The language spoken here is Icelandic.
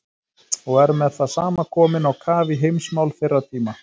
Og er með það sama komin á kaf í heimsmál þeirra tíma.